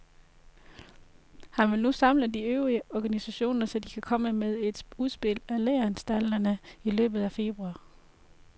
Han vil nu samle de øvrige organisationer, så de kan komme med et udspil til læreanstalterne i løbet af februar.